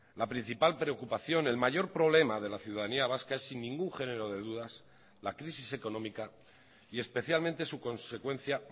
la principal preocupación el mayor problema de la ciudadanía vasca es sin ningún género de dudas la crisis económica y especialmente su consecuencia